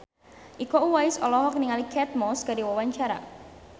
Iko Uwais olohok ningali Kate Moss keur diwawancara